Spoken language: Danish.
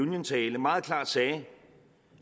union tale meget klart sagde